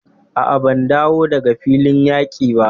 A'a, ban dawo daga filin yaƙi ba.